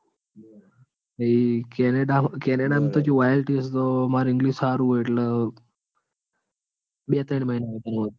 Canada Canada માં તો કેવું IELTS તો માર english તો હારું હ એટલે બે ત્રણ મહિના વધારે માં વધારે.